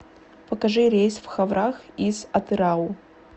покажи рейс в ховрах из атырау